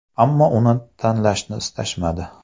Ammo uni tanlashni istashmadi.